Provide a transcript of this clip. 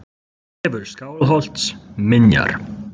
Vefur Skálholts: Minjar.